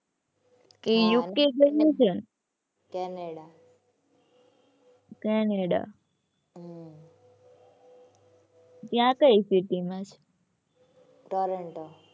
એ UK ગઈ છે. Canada. Canada હમ્મ. ત્યાં કઈ city માં છે. ટોરેન્ટો.